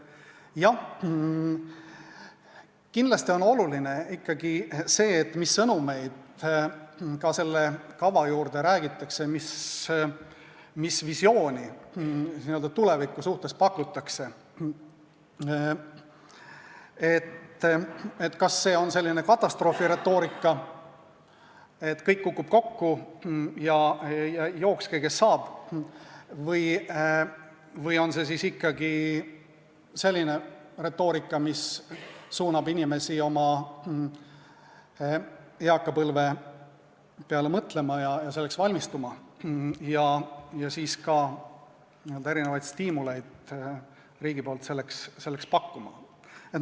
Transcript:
Jah, kindlasti on oluline, mis sõnumeid selle kava juurde räägitakse, mis visiooni n-ö tuleviku suhtes pakutakse: kas see on selline katastroofiretoorika, et kõik kukub kokku ja jookske, kes saab, või on see ikkagi selline retoorika, mis suunab inimesi oma eakapõlve peale mõtlema ja selleks valmistuma ja siis ka riigi poolt selleks erinevaid stiimuleid pakkuma?